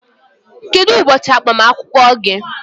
Kedu ụbọchị agbamakwụkwọ gị?